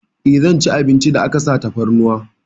Eh, zan ci abincin da aka sa tafarnuwa.